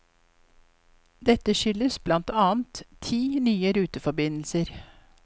Dette skyldes blant annet ti nye ruteforbindelser.